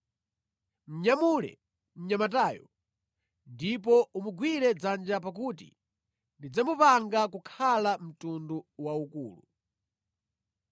Munyamule mnyamatayo ndipo umugwire dzanja pakuti ndidzamupanga kukhala mtundu waukulu.”